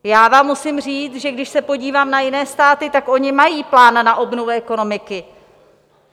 Já vám musím říct, že když se podívám na jiné státy, tak oni mají plán na obnovu ekonomiky.